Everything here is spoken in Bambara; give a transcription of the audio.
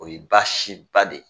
O ye baasi ba de ye.